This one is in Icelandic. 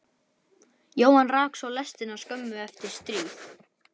Jóhann rak svo lestina skömmu eftir stríð.